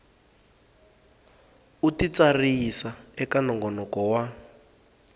u titsarisa eka nongonoko wa